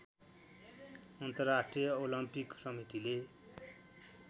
अन्तर्राष्ट्रिय ओलम्पिक समितिले